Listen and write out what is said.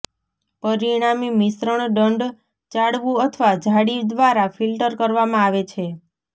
પરિણામી મિશ્રણ દંડ ચાળવું અથવા જાળી દ્વારા ફિલ્ટર કરવામાં આવે છે